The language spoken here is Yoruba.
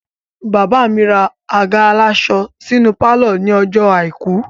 Bàbá mi ra àga aláṣọ sínú pálọ̀ ní ọjọ́ àìkú